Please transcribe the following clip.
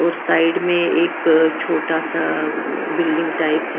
और साइड में एक छोटा सा बिल्डिंग टाइप है--